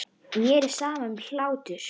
Mér er sama um hlátur.